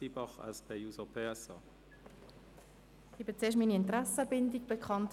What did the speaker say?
Ich gebe als Erstes meine Interessenbindung bekannt: